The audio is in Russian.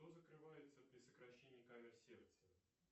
что закрывается при сокращении камер сердца